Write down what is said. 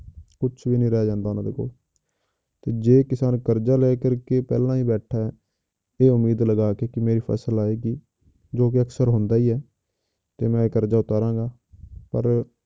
ਕੁਛ ਵੀ ਨੀ ਰਹਿ ਜਾਂਦਾ ਉਹਨੇ ਦੇ ਕੋਲ, ਤੇ ਜੇ ਕਿਸਾਨ ਕਰਜ਼ਾ ਲੈ ਕਰਕੇ ਪਹਿਲਾਂ ਹੀ ਬੈਠਾ ਹੈ ਇਹ ਉਮੀਦ ਲਗਾ ਕੇ ਕਿ ਮੇਰੀ ਫਸਲ ਆਏਗੀ, ਜੋ ਕਿ ਅਕਸਰ ਹੁੰਦਾ ਹੀ ਹੈ ਤੇ ਮੈਂ ਕਰਜ਼ਾ ਉਤਾਰਾਂਗਾ ਪਰ